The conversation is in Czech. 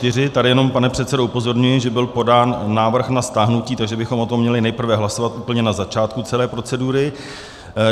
- Tady jenom, pane předsedo, upozorňuji, že byl podán návrh na stáhnutí, takže bychom o tom měli nejprve hlasovat úplně na začátku celé procedury.